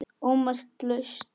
ómerkt lausn